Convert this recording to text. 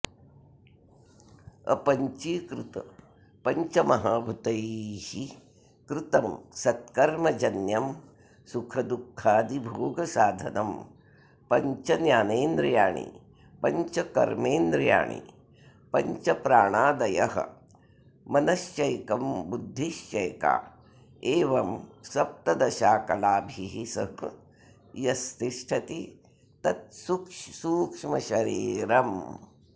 अपञ्चीकृतपञ्चमहाभूतैः कृतं सत्कर्मजन्यं सुखदुःखादिभोगसाधनं पञ्चज्ञानेन्द्रियाणि पञ्चकर्मेन्द्रियाणि पञ्चप्राणादयः मनश्चैकं बुद्धिश्चैका एवं सप्तदशाकलाभिः सह यत्तिष्ठति तत्सूक्ष्मशरीरम्